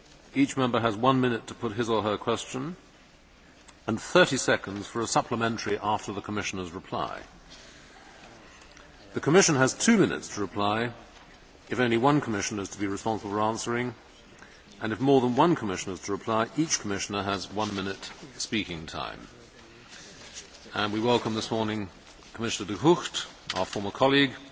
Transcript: Each Member has one minute to put his or her question, and 30 seconds for a supplementary after the Commissioner's reply. The Commission has two minutes to reply if only one Commissioner is to be responsible for answering, and if more than one Commissioner is to reply, each Commissioner has one minute speaking time. We welcome this morning Commissioner De Gucht, our former colleague,